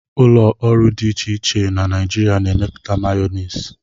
ụlọ ọrụ dị iche iche na Nigeria na-emepụta Mayonezi